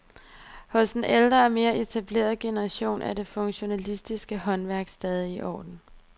Hos den ældre og mere etablerede generation er det funktionalistiske håndværk stadig i orden.